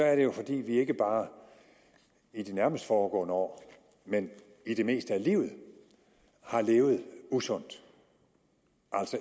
er det jo fordi vi ikke bare i de nærmest foregående år men i det meste af livet har levet usundt